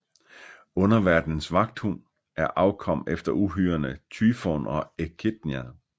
Underverdenens vagthund er afkom efter uhyrerne Tyfon og Echidna